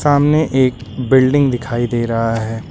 सामने एक बिल्डिंग दिखाई दे रहा है।